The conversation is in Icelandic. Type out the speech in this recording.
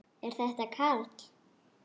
Er þetta Karl?